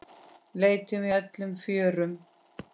Leitum í öllum fjörum.